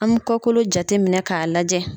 An mi kɔkolo jate minɛ k'a lajɛ.